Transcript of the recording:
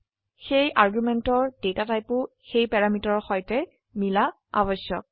সেয়ে আৰ্গুমেন্টেৰ ডেটা টাইপো সেই প্যাৰামিটাৰৰ সৈতে মিলা আবশ্যক